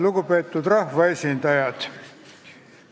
Lugupeetud rahvaesindajad!